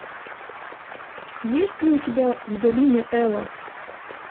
есть ли у тебя в долине эла